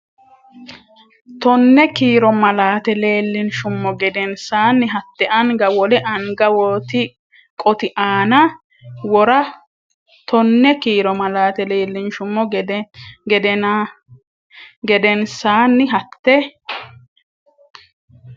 Tonne kiiro malaate leellinshummo geden- saanni hatte anga wole anga qoti aana wora Tonne kiiro malaate leellinshummo geden- saanni hatte.